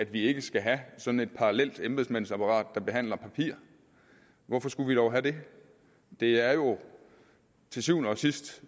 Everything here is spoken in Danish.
vi ikke skal have sådan et parallelt embedsmandsapparat som behandler papir hvorfor skulle vi dog have det det er jo til syvende og sidst